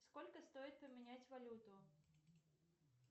сколько стоит поменять валюту